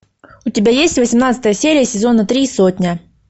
у тебя есть восемнадцатая серия сезона три сотня